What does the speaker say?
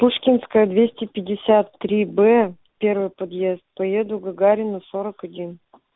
пушкинская двести пятьдесят тои бэ первый подъезд поеду гагарина сорок один